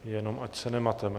Jenom ať se nemateme.